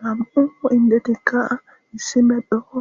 nam7u indetikka issi medhoo